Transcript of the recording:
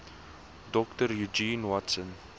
dr eugene watson